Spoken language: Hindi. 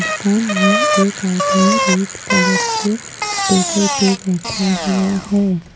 दुकान में एक आदमी रेड कलर के टेबल पे बैठा हुआ है।